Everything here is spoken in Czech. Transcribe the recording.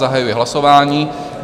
Zahajuji hlasování.